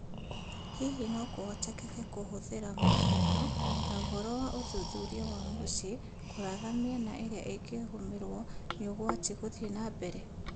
Hihi nokũhotekeke kũhũthĩra mũhiano, na ũhoro wa ũthuthuria wa mũciĩ kũratha mĩena ĩrĩa ĩngigũmĩrwo nĩũgwati gũthiĩ nambere ?